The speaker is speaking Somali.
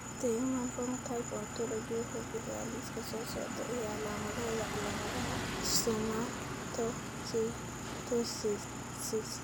The Human Phenotype Ontology wuxuu bixiyaa liiska soo socda ee calaamadaha iyo calaamadaha Stomatocytosis I.